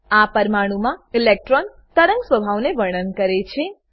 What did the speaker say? આ પરમાણુમા ઇલેક્ટ્રોન તરંગ સ્વભાવને વર્ણન કરે છે